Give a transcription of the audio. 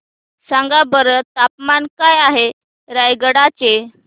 सांगा बरं तापमान काय आहे रायगडा चे